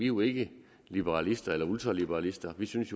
jo ikke liberalister eller ultraliberalister vi synes